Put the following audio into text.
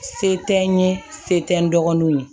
Se tɛ n ye se tɛ n dɔgɔninw ye